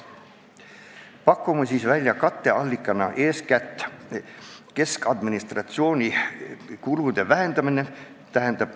Pakume katteallikana välja eeskätt keskadministratsiooni kulude vähendamise.